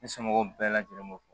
Ne somɔgɔw bɛɛ lajɛlen b'o fɔ